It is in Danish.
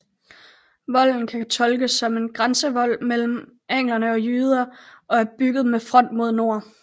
Volden kan tolkes som en grænsevold mellem anglere og jyder og er bygget med front mod nord